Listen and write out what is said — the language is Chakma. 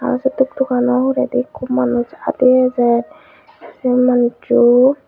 aro se tuk tukkano huredi ekko manuj adi ejer se manuchu.